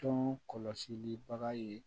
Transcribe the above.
Tɔn kɔlɔsili bagan ye